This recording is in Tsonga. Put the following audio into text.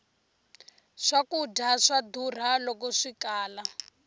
swkudya swa durha loko swikala